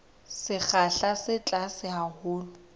sekgahla se tlase haholo sa